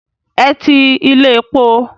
Ẹ ti ilé epo.